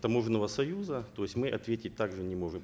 таможенного союза то есть мы ответить так же не можем